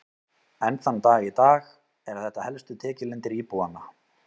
Enn þann dag í dag eru þetta helstu tekjulindir íbúanna.